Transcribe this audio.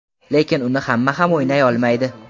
Lekin uni hamma ham o‘ynay olmaydi.